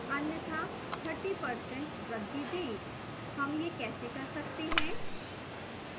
अन्यथा 30% वृद्धि दें